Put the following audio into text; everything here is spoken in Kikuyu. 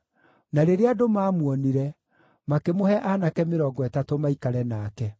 Na rĩrĩa andũ maamuonire, makĩmũhe aanake mĩrongo ĩtatũ maikare nake.